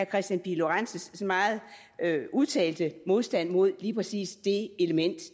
kristian pihl lorentzens meget udtalte modstand mod lige præcis det element i